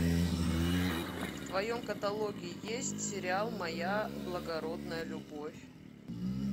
в твоем каталоге есть сериал моя благородная любовь